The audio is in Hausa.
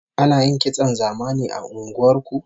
Ana yin kitson zamani a unguwar ku?